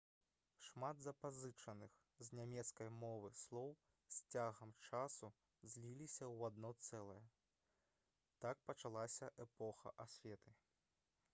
шмат запазычаных з нямецкай мовы слоў з цягам часу зліліся ў адно цэлае так пачалася эпоха асветы